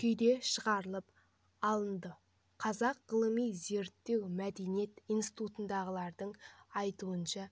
күйде шығарылып алынды қазақ ғылыми-зерттеу мәдениет институтындағылардың айтуынша